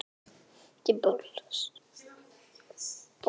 Þá varð Pétri